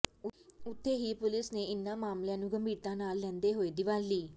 ਉੱਥੇ ਹੀ ਪੁਲਿਸ ਨੇ ਇਨ੍ਹਾਂ ਮਾਮਲਿਆਂ ਨੂੰ ਗੰਭੀਰਤਾ ਨਾਲ ਲੈਂਦੇ ਹੋਏ ਦੀਵਾਲੀ